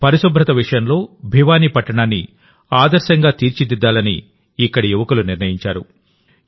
పరిశుభ్రత విషయంలో భివానీ పట్టణాన్ని ఆదర్శంగా తీర్చిదిద్దాలని ఇక్కడి యువకులు నిర్ణయించారు